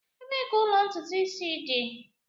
Ebee ka ụlọ ntutu isi dị?